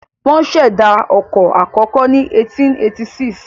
Wọ́n ṣẹ̀dá ọkọ̀ àkọ́kọ́ ní 1886.